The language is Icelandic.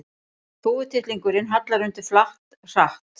Þúfutittlingurinn hallar undir flatt, hratt.